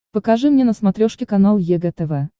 покажи мне на смотрешке канал егэ тв